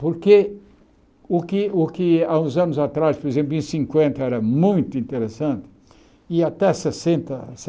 Porque o que o que há uns anos atrás, por exemplo, em cinquenta, era muito interessante, e até sessenta essa